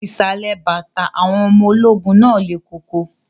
Ìsàlẹ̀ bàtà àwọn ọmọ ológun náà lẹ̀ koko